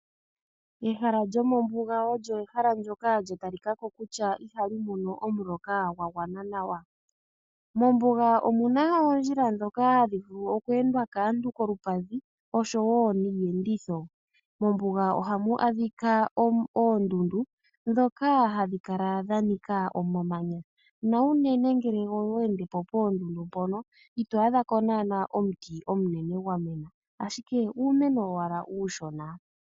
Ehala lyomombuga olyo ehala ndjoka lya talikako kutya ihali mono omuloka gwa gwana nawa. Mombuga omu na oondjila ndhoka hadhi vulu okweendwa kaantu koompadhi osho wo niiyenditho. Mombuga ohamu adhika oondundu ndhoka hadhi kala dha nika omamanya na unene ngele owa ende po poondundu mpono, ito adha po naana omuti omunene gwa mena, ashike uumeno owala uushona.